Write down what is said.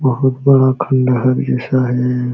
बहुत बड़ा खँडहर जैसा है।